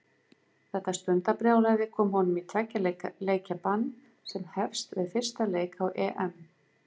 Þetta stundarbrjálæði kom honum í tveggja leikja bann sem hefst við fyrsta leik á EM.